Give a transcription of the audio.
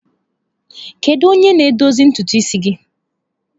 Kedu onye na-edozi ntutu isi gị?